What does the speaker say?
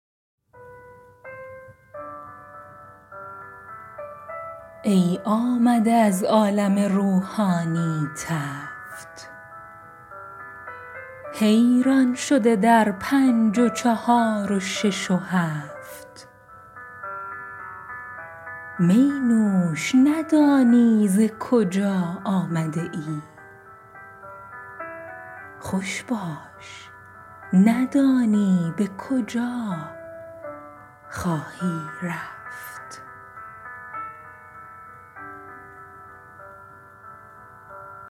ای آمده از عالم روحانی تفت حیران شده در پنج و چهار و شش و هفت می نوش ندانی ز کجا آمده ای خوش باش ندانی به کجا خواهی رفت